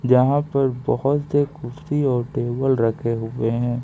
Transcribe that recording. यहां पर बहुत से कुर्सी और टेबल रखे हुए हैं।